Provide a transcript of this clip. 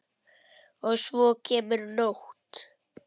Og svo kemur nótt.